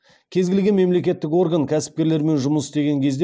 кез келген мемлекеттік орган кәсіпкерлермен жұмыс істеген кезде